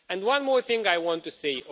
And one more thing I want to say.